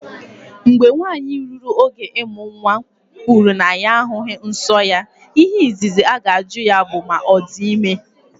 Mgbe nwanyị ruru oge ịmụ nwa kwuru na ya ahụghị nsọ ya, ihe izizi aga-ajụ ya bụ ma ọ dị ime.